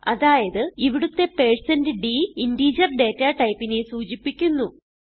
അതായത് ഇവിടുത്തെ 160d integer data typeനെ സൂചിപ്പിക്കുന്നു